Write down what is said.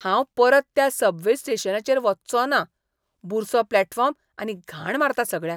हांव परत त्या सबवे स्टेशनाचेर वच्चों ना. बुरसो प्लॅटफॉर्म आनी घाण मारता सगळ्याक.